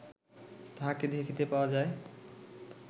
তাঁহাকে দেখিতে পাওয়া যায়